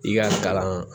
I ka kalan